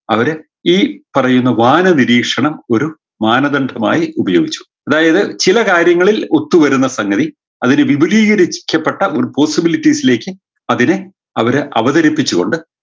അവരെ ഈ പറയുന്ന വാനനിരീക്ഷണം ഒരു മാനദണ്ഡമായ് ഉപയോഗിച്ചു അതായത് ചില കാര്യങ്ങളിൽ ഒത്തു വരുന്ന സംഗതി അതില് വിപുലീകരിക്കപ്പെട്ട ഒരു possibilities ലേക്ക് അതിനെ അവര് അവതരിപ്പിച്ചു കൊണ്ട്